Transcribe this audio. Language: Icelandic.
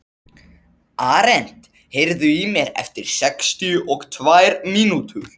Arent, heyrðu í mér eftir sextíu og tvær mínútur.